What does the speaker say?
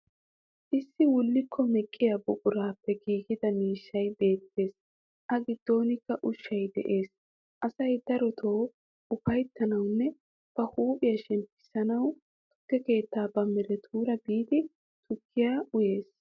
Issi wullikko meqqiya buquraappe giigida miishshay beettes. A giddonikka ushshay dees. Asay darotoo ufayttanawunne ba huuphiya shemppissanawu tukke keetti ba miiretuura biiddi tukkiya uyees.